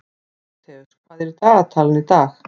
Tímóteus, hvað er í dagatalinu í dag?